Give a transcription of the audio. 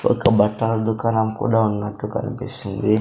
ఒక బట్టల దుకాణం కూడా ఉన్నట్టు కనిపిస్తుంది.